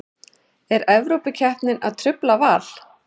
Er Evrópukeppnin að trufla Val?